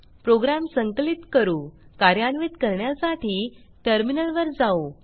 program संकलित करूकार्यान्वित करण्यासाठी टर्मिनलवर जाऊ